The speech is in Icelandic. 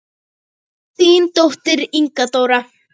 Þín dóttir, Inga Dóra.